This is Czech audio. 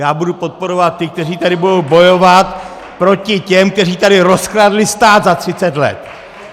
Já budu podporovat ty, kteří tady budou bojovat proti těm, kteří tady rozkradli stát za 30 let.